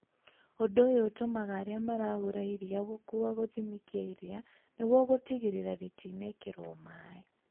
Ũndũ ũyũ ũtũmaga arĩa maragũra iria gũkua gũthimi kĩa iria nĩguo gũtigĩrĩrarĩtiĩkĩritwo maĩ